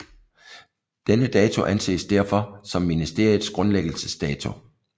Denne dato anses derfor som ministeriets grundlæggelsesdato